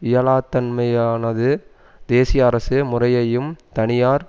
இயலாத்தன்மையானது தேசியஅரசு முறையையும் தனியார்